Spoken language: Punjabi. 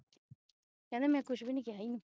ਕਹਿੰਦੇ ਮੈਂ ਕੁਝ ਵੀ ਨਹੀਂ ਕਿਹਾ ਏਨੂੰ